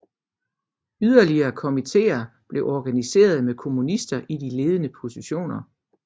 Yderligere komitéer blev organiserede med kommunister i de ledende positioner